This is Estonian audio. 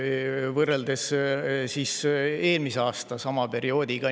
… võrreldes eelmise aasta sama perioodiga.